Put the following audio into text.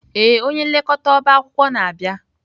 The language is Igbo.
Ee, onye nlekọta ọba akwụkwọ na-abịa.